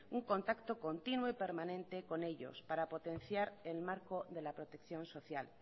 un contacto continuo y permanente con ellos para potenciar el marco de la protección social